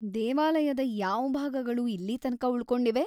ದೇವಾಲಯದ ಯಾವ್ ಭಾಗಗಳು ಇಲ್ಲೀ ತನಕ ಉಳ್ಕೊಂಡಿವೆ?